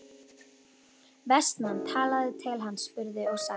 Vestmann talaði til hans, spurði og sagði